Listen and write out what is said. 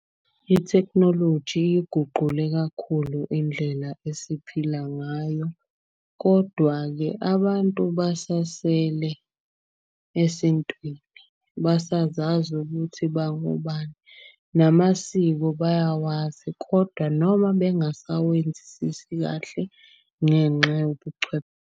Ithekhinoloji iguqule kakhulu indlela esiphila ngayo. Kodwa-ke abantu besasele esintwini, basazazi ukuthi bangobani, namasiko bayawazi. Kodwa noma bengasawenzisisi kahle ngenxa .